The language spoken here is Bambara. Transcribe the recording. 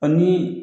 Ani